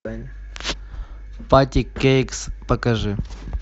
патти кейкс покажи